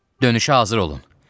dönüşə hazır olun.